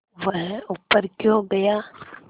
वह ऊपर क्यों गया